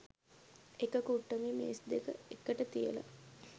එක කුට්ටමේ මේස් දෙක එකට තියලා